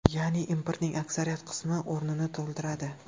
Ya’ni importning aksariyat qismi o‘rnini to‘ldiradi.